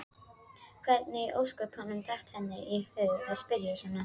Hvernig í ósköpunum datt henni í hug að spyrja svona!